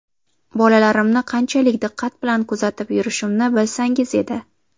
Bolalarimni qanchalik diqqat bilan kuzatib yurishimni bilsangiz edi.